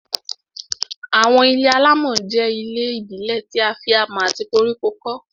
Àwọn ilé-alámọ̀ jẹ́ àwọn ilé ìbílẹ̀ tí a fi amọ̀ àti koríko kọ́